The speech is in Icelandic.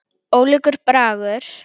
Ólíkur bragur.